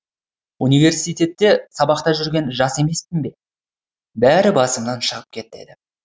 университетте сабақта жүрген жас емеспін бе бәрі басымнан шығып кетеді